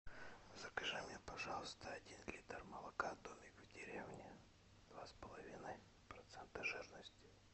закажи мне пожалуйста один литр молока домик в деревне два с половиной процента жирности